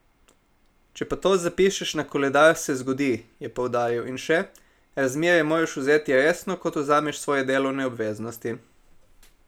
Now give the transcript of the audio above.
Če pa to zapišeš na koledar, se zgodi," je poudaril in še: "Razmerje moraš vzeti resno, kot vzameš svoje delovne obveznosti.